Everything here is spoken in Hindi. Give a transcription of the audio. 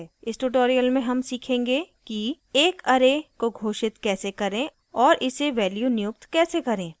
इस tutorial में हम सीखेंगे कि एक array array को घोषित कैसे करें और इसे values नियुक्त कैसे करें